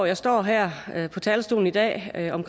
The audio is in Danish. jeg står her her på talerstolen i dag og